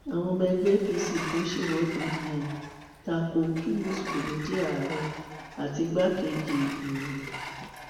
àwọn ọmọ ẹgbẹ apc kan ṣèwọde um ta ko kí mùsùlùmí jẹ ààrẹ àti igbákejì um